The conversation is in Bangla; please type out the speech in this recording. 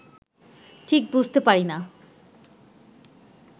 ঠিক বুঝতে পারি না